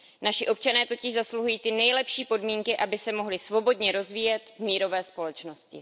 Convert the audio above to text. Naši občané totiž zasluhují ty nejlepší podmínky, aby se mohli svobodně rozvíjet v mírové společnosti.